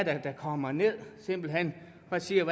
er der kommer ned og simpelt hen ser